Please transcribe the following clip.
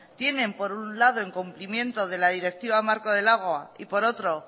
tienen por un lado en cumplimiento de la directiva marco del agua y por otro